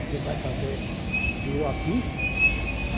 Você vai fazer... Tirou a ficha?